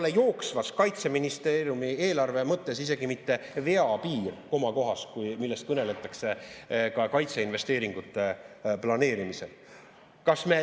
See ei ole Kaitseministeeriumi eelarve mõttes isegi mitte vea piir komakohas, millest kõneldakse ka kaitseinvesteeringute planeerimisel.